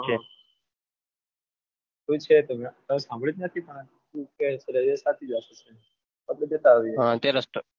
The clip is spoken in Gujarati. છે એવું છે સાંભળ્યું તો નથી મેં પણ તું કહે એટલે સાચી જ વાત હશે આપણે જતા આવીએ ત્યાં